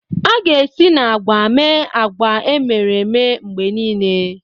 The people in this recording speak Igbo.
A ga-esi na agwa mee agwa emere eme mgbe niile.